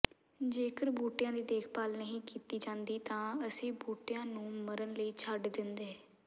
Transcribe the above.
ਜੇਕਰ ਬੂਟਿਆਂ ਦੀ ਦੇਖਭਾਲ ਨਹੀਂ ਕੀਤੀ ਜਾਂਦੀ ਤਾਂ ਅਸੀਂ ਬੂਟਿਆਂ ਨੂੰ ਮਰਨ ਲਈ ਛੱਡ ਦਿੰਦੇ